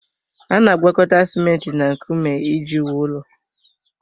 A na-agwakọta simenti na nkume iji wuo ụlọ.